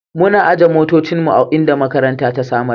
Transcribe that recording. Muna aje motocinmu a inda makaranta ta samar.